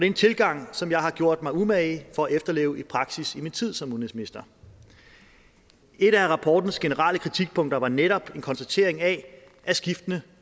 en tilgang som jeg har gjort mig umage for at efterleve i praksis i min tid som udenrigsminister et af rapportens generelle kritikpunkter var netop en konstatering af at skiftende